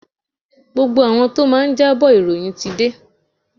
Gbogbo àwọn tí ó máa jábọ̀ ìròyìn ti dé.